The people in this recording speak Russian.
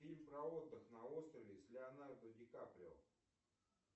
фильм про отдых на острове с леонардо ди каприо